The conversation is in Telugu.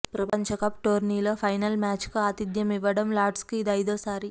ప్రపంచకప్ టోర్నీలో ఫైనల్ మ్యాచ్కు ఆతిథ్యమివ్వడం లార్డ్స్కు ఇది ఐదో సారి